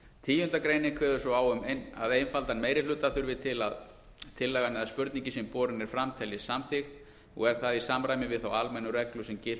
tíunda greinin kveður svo á um að einfaldan meirihluta þurfi til að tillagan eða spurningin sem borin er fram teljist samþykkt og er það í samræmi við þá almennu reglu sem gilt